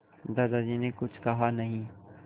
दादाजी ने कुछ कहा नहीं